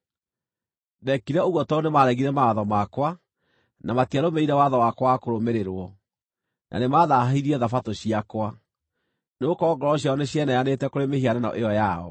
Ndeekire ũguo tondũ nĩmaregire mawatho makwa, na matiarũmĩrĩire watho wakwa wa kũrũmĩrĩrwo, na nĩmathaahirie Thabatũ ciakwa. Nĩgũkorwo ngoro ciao nĩcieheanĩte kũrĩ mĩhianano ĩyo yao.